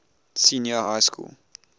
senior high school